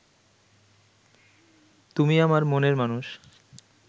তুমি আমার মনের মানুষ